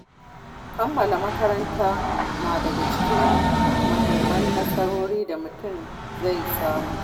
Kammala makaranta na daga cikin muhimman nasarori da mutum zai samu.